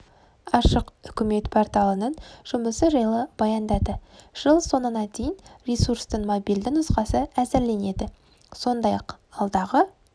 ашық үкімет порталының жұмысы жайлы баяндады жыл соңына дейін ресурстың мобильді нұсқасы әзірленеді сондай-ақ алдағы